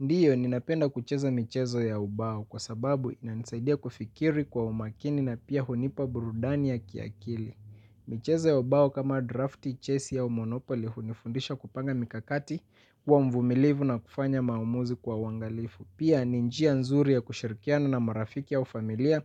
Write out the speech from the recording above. Ndiyo, ninapenda kucheza michezo ya ubao kwa sababu inanisaidia kufikiri kwa umakini na pia hunipa burudani ya kiakili. Michezo ya ubao kama drafti, chesi au monopoli hunifundisha kupanga mikakati kuwa mvumilivu na kufanya maamuzi kwa uangalifu. Pia ni njia nzuri ya kushirikiana na marafiki au familia